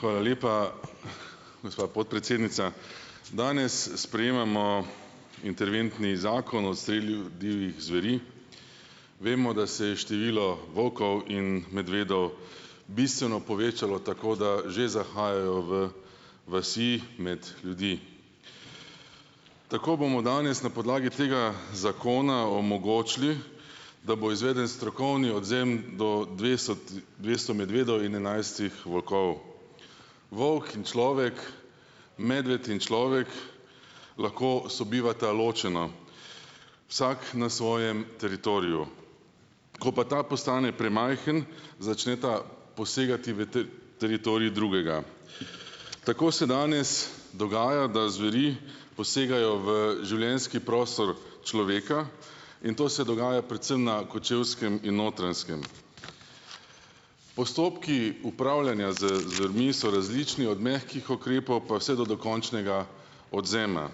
Hvala lepa, gospa podpredsednica. Danes sprejemamo interventni Zakon o odstrelu divjih zveri. Vemo, da se je število volkov in medvedov bistveno povečalo, tako da že zahajajo v vasi med ljudi. Tako bomo danes na podlagi tega zakona omogočili, da bo izveden strokovni odvzem do dvesto medvedov in enajstih volkov. Volk in človek, medved in človek lahko sobivata ločeno. Vsak na svojem teritoriju. Ko pa ta postane premajhen, začneta posegati v teritorij drugega. Tako se danes dogaja, da zveri posegajo v življenjski prostor človeka in to se dogaja predvsem na Kočevskem in Notranjskem. Postopki upravljanja z zvermi so različni. Od mehkih ukrepov pa vse do dokončnega odvzema.